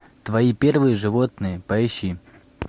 твои первые животные поищи